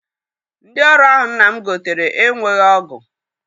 Ndị ọrụ ahụ nna m gotere enweghị ọgụ.